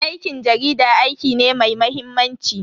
Aikin jarida aiki ne mai mahimmanci.